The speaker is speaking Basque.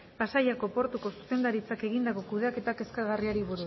pasaiako portuko zuzendaritzak egindako kudeaketa kezkagarriari